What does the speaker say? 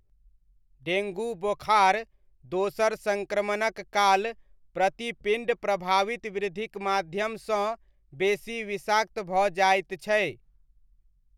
Dengue बोखार दोसर सङ्क्रमणक काल प्रतिपिण्ड प्रभावित वृद्धिक माध्यमसँ बेसी विषाक्त भऽ जाइत छै।